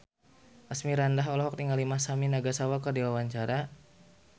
Asmirandah olohok ningali Masami Nagasawa keur diwawancara